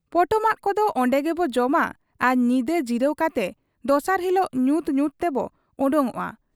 ᱯᱚᱴᱚᱢᱟᱜ ᱠᱚᱫᱚ ᱚᱱᱰᱮᱜᱮᱵᱚ ᱡᱚᱢᱟ ᱟᱨ ᱧᱤᱫᱟᱹ ᱡᱤᱨᱟᱹᱣ ᱠᱟᱛᱮ ᱫᱚᱥᱟᱨ ᱦᱤᱞᱚᱜ ᱧᱩᱛ ᱧᱩᱛ ᱛᱮᱵᱚ ᱚᱰᱚᱠᱚᱜ ᱟ ᱾